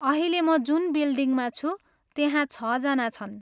अहिले म जुन बिल्डिङमा छु, त्यहाँ छजना छन्।